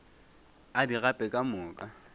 a di gape ka moka